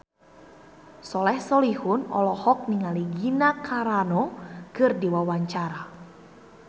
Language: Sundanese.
Soleh Solihun olohok ningali Gina Carano keur diwawancara